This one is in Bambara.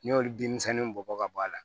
N'i y'olu bin bɔ ka bɔ a la